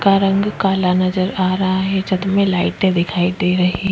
का रंग काला नजर आ रहा है छत में लाइटे दिखाई दे रही --